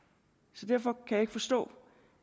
så derfor kan jeg ikke forstå